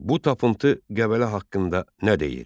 Bu tapıntı Qəbələ haqqında nə deyir?